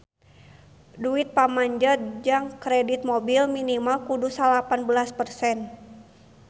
Duit pamanjer jang kredit mobil minimal kudu salapan belas persen